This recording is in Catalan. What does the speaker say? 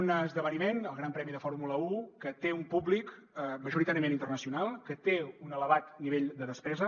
un esdeveniment el gran premi de fórmula un que té un públic majoritàriament internacional que té un elevat nivell de despesa